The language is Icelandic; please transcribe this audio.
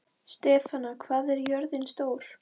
Stefana, hvað er jörðin stór?